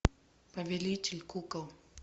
повелитель кукол